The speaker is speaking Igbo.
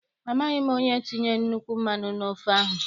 Amaghị m onye tinyere nnukwu mmanụ n' ofe ahụ.